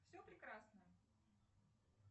все прекрасно